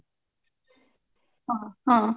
ହଁ ହଁ